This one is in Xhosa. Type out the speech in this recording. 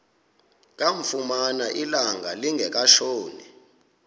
kamfumana ilanga lingekatshoni